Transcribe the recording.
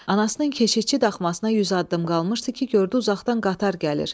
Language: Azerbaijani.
Anasının keşiyçi daxmasına 100 addım qalmışdı ki, gördü uzaqdan qatar gəlir.